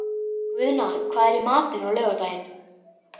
Guðna, hvað er í matinn á laugardaginn?